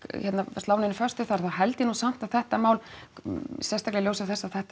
slá neinu föstu þar þá held ég nú samt að þetta mál sérstaklega í ljósi þess að þetta